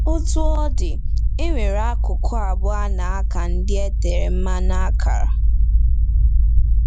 Otú ọ dị, e nwere akụkụ abụọ a na-aka ndị e tere mmanụ akara.